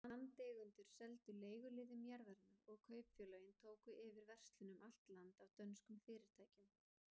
Landeigendur seldu leiguliðum jarðirnar, og kaupfélögin tóku yfir verslun um allt land af dönskum fyrirtækjum.